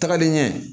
Tagalen ɲɛ